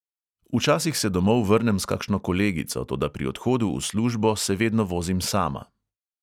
Včasih se domov vrnem s kakšno kolegico, toda pri odhodu v službo se vedno vozim sama.